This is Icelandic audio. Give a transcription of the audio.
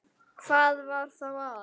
Hvað var þá að?